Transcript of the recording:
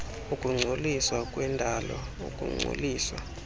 ukungcoliswa kwendalo ukungcoliswa